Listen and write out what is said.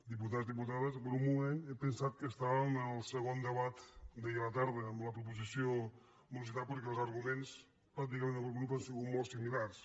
diputats diputades per un moment he pensat que estàvem en el segon debat d’ahir a la tarda amb la proposició de morositat perquè els arguments pràcticament d’algun grup han sigut molt similars